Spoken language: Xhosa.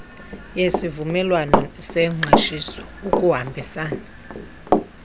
yesivumelwano sengqeshiso ukuhambisana